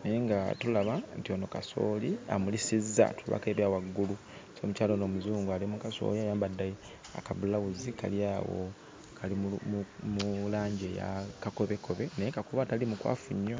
naye nga tulaba nti ono kasooli amulisizza, tulabako ebya waggulu. So omukyala ono omuzungu ali mu kasooli era ayambadde akabulawuzi kali awo kali mu kali mu langi ya kakobekobe, naye kakobe atali mukwafu nnyo.